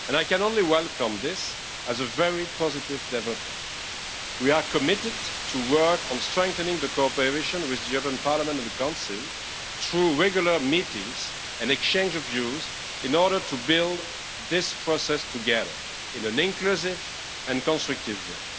I can only welcome this as a very positive development. We are committed to work on strengthening the cooperation with the European Parliament and the Council through regular meetings and exchanges of views in order to build this process together in an inclusive and constructive